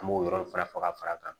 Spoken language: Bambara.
An b'o yɔrɔ fara ka fara kan